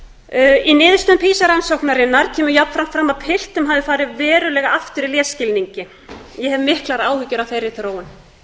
í niðurstöðum pisa rannsóknarinnar kemur jafnframt fram að piltum hafi farið verulega aftur í lesskilningi ég hef miklar áhyggjur af þeirri þróun